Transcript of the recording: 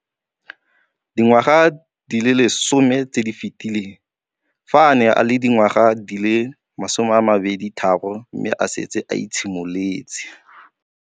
Dingwaga di le 10 tse di fetileng, fa a ne a le dingwaga di le 23 mme a setse a itshimoletse.